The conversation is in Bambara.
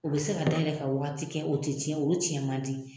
U bi se ka dayɛlɛ ka wagati kɛ o te tiɲɛ . Olu tiɲɛ man di .